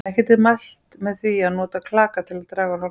Ekki er mælt með því að nota klaka til að draga úr hálsbólgu.